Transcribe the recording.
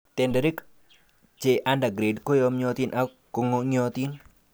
Tenderek che under grade ko yomyotin ak kong'iotin.